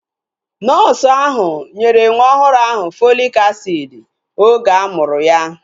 Nọọsu ahu nyere nwa ọhụrụ ahụ Fọlik asiidi oge a mụrụ ya